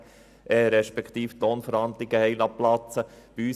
man habe die Lohnverhandlungen platzen lassen.